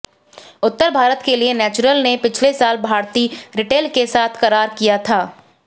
उत्तर भारत के लिए नैचुरल ने पिछले साल भारती रिटेल के साथ करार किया था